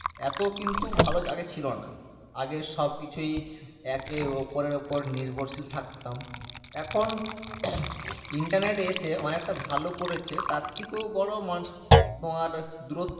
এতো কিন্তু ভালো আগে ছিলোনা আগে সবকিছুই একে অপরের উপর নির্ভরশীল থাকতাম এখন internet এসে অনেকটা ভালো করেছে তার থেকেও বড়ো মানুষ তোমার দুর